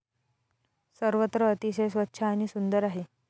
सर्वत्र अतिशय स्वच्छ आणि सुंदर आहे.